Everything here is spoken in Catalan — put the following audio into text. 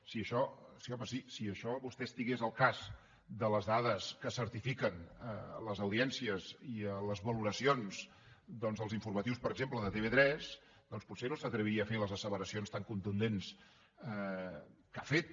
sí home sí si vostè estigués al cas de les dades que certifiquen les audiències i les valoracions dels informatius per exemple de tv3 doncs potser no s’atreviria a fer les asseveracions tan contundents que ha fet